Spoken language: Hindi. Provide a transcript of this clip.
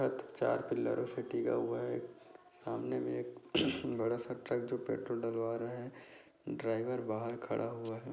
चार पिलरों से टिका हुआ है सामने में एक बड़ा स ट्रक जो पेट्रोल डलवा रहा है ड्राइवर बाहर खड़ा हुआ है